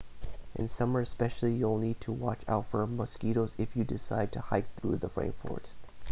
in summer especially you'll need to watch out for mosquitoes if you decide to hike through the rainforest